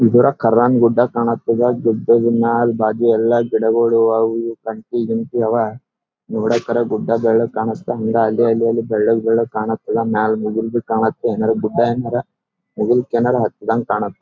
ಇದರ ಖರನ್ ಗುಡ್ಡ ಕಾಣತ್ತದ ಗುಡ್ಡದ ಮ್ಯಾಲ ಬಾಜು ಎಲ್ಲ ಗಿಡಗಳು ಅವು ಇವು ಕಂಟಿ ಗಿಂಟಿ ಅವ ನೋಡಕರ ಗುಡ್ಡ ಕಾಣಸ್ತದ ಹಂಗ ಅಲ್ಲಿ ಅಲ್ಲಿ ಬೆಳ್ಳಗ ಬೆಳ್ಳಗ ಕಾಣತ್ತದ ಮ್ಯಾಲ ಮುಗಲ್ಬಿ ಕಾಣತ್ತದ ಮುಗಿಲ್ ಏನ್ರ ಹತ್ತದಂಗ್ ಕಾಣತ್ತದ.